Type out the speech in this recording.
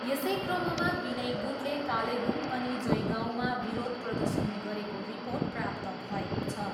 यसै क्रममा विनय गुटले कालेबुङ अनि जयगाउँमा विरोध प्रर्दशन गरेको रिपोर्ट् प्राप्त भएको छ।